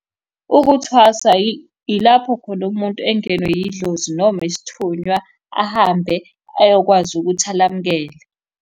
Ukuthwasa yilapho khona umuntu engenwa yidlozi noma isithunywa ahambe ayokwazi ukuthi alamukele.